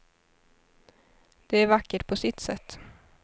Det är vackert på sitt sätt.